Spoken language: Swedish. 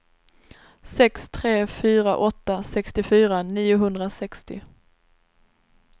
sex tre fyra åtta sextiofyra niohundrasextio